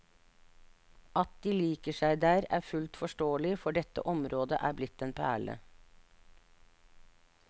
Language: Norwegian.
At de liker seg der, er fullt forståelig, for dette området er blitt en perle.